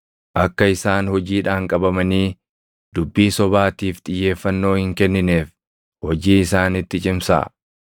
Akka isaan hojiidhaan qabamanii dubbii sobaatiif xiyyeeffannoo hin kennineef hojii isaanitti cimsaa.”